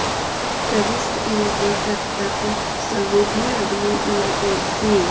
प्रविष्टः ईयते तत् तत् स्वरूपः अग्निः इव एधसि